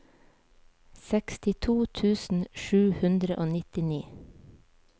sekstito tusen sju hundre og nittini